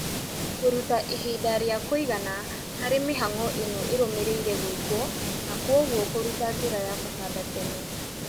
Kũruta ihinda rĩa kũigana harĩ mĩhang'o ĩno ĩrũmĩrĩire gwĩkwo na kwoguo kũruta njĩra ya kũhanda tene